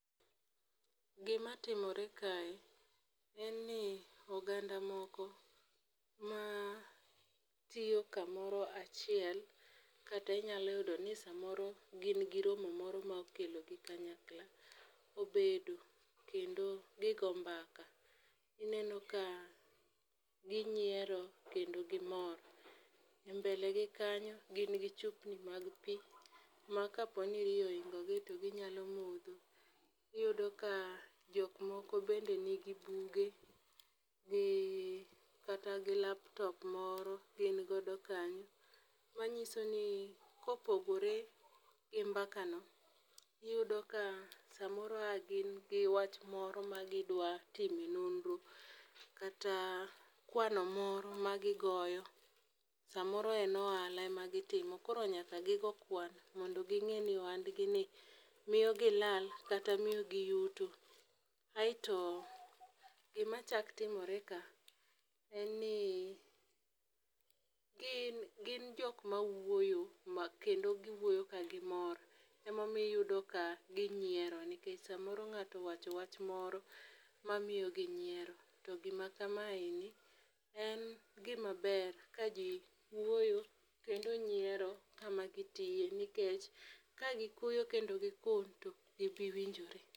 Gima timore kae en ni oganda moko ma tiyo kamoro achiel kata inyalo yudo ni samoro gin gi romo moro ma okelo gi kanyakla obedo kendo gigo mbaka .Ineno ka ginyiero kendo gimor e mbele gi kanyo gin gi chupni mag pii ma kapo ni riyo oingo gi to ginya modho .Iyudo ka jok moko bende nigi bige kata gi laptop moro gin godo kanyo manyiso ni kopogore gi mbaka no iyudo ka samoro a gin gi wach moro ma gidwa time nonro kata kwano moro ma gigoyo samoro en ohala ema gitimo koro nyaka gigo kwan mondo ging'e ni ohand gi ni miyo gi lal kata miyo gi yudo. Aeto gima chak timre ka en ni gin gin jok ma wuoyo ma kendo giwuoyo ka gimoro. Emomiyo iyudo ka ginyiero nikech samoro ng'ato wacho wach moro mamiyo gi nyiero. To gima kama en ni en gima ber ka jii wuoyo kendo nyiero kama gitiye nikech ka gikuyo kendo gikun tok gibi winjore.